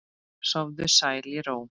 Sofðu sæll í ró.